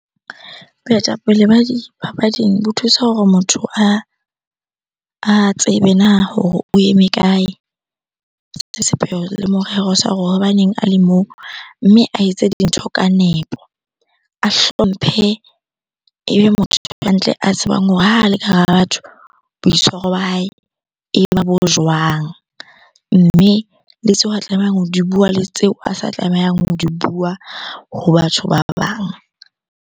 Boetapele ba dipapading bo thusa hore motho a tsebe na hore o eme kae? Sepheo le morero sa hore hobaneng a le moo? Mme a etse dintho ka nepo, a hlomphe. Ebe motho hantle, a tsebang hore ha le ka hara batho boitshwaro ba hae e ba bo jwang? Mme le tseo a tlamehang ho di bua le tseo a sa tlamehang ho di bua ho batho ba bang.